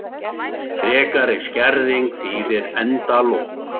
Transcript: Frekari skerðing þýðir endalok